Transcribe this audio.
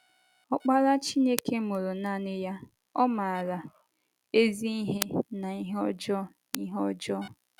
Ọkpara Chineke mụrụ nanị ya, ọ̀ maara “ ezi ihe na ihe ọjọọ ihe ọjọọ. ”